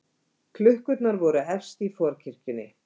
Klukkurnar voru efst í forkirkjunni.